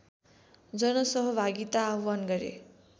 जनसहभागिता आव्हान गरे